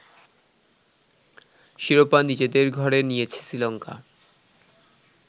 শিরোপা নিজেদের ঘরে নিয়েছে শ্রীলঙ্কা